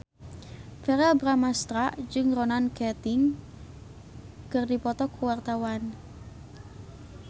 Verrell Bramastra jeung Ronan Keating keur dipoto ku wartawan